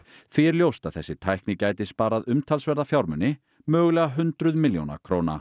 því er ljóst að þessi nýja tækni gæti sparað umtalsverða fjármuni mögulega hundruð milljóna króna